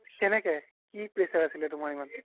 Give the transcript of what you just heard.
কেনেকে কি pressure আছিলে তুমাৰ ইমান